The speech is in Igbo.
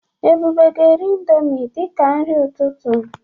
Ebube ga eri indọmii dịka nri ụtụtụ.